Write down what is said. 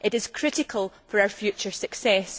It is critical for our future success.